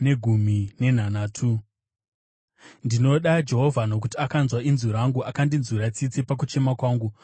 Ndinoda Jehovha, nokuti akanzwa inzwi rangu; akandinzwira tsitsi pakuchema kwangu.